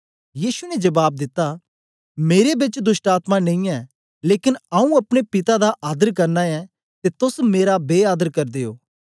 यीशु ने जबाब दिता मेरे बिच दोष्टआत्मा नेई ऐ लेकन आऊँ अपने पिता दा आदर करना ऐं ते तोस मेरा बे आदर करदे ओ